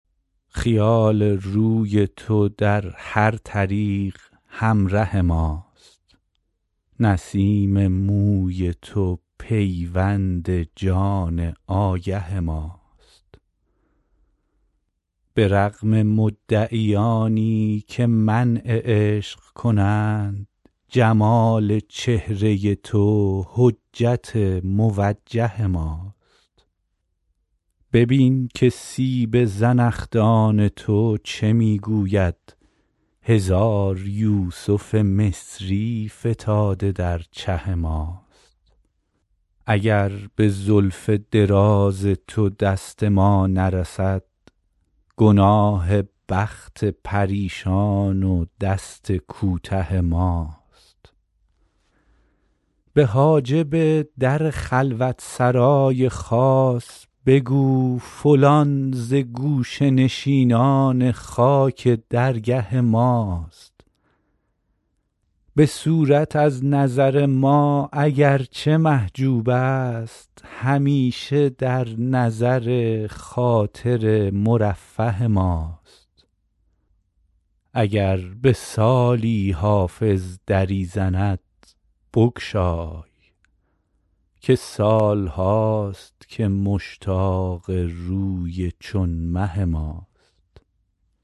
خیال روی تو در هر طریق همره ماست نسیم موی تو پیوند جان آگه ماست به رغم مدعیانی که منع عشق کنند جمال چهره تو حجت موجه ماست ببین که سیب زنخدان تو چه می گوید هزار یوسف مصری فتاده در چه ماست اگر به زلف دراز تو دست ما نرسد گناه بخت پریشان و دست کوته ماست به حاجب در خلوت سرای خاص بگو فلان ز گوشه نشینان خاک درگه ماست به صورت از نظر ما اگر چه محجوب است همیشه در نظر خاطر مرفه ماست اگر به سالی حافظ دری زند بگشای که سال هاست که مشتاق روی چون مه ماست